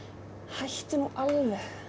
hættu nú alveg